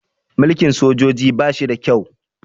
Mulkin sojoji ba shi da kyau